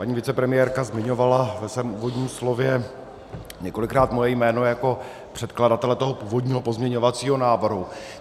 Paní vicepremiérka zmiňovala ve svém úvodním slově několikrát moje jméno jako předkladatele toho původního pozměňovacího návrhu.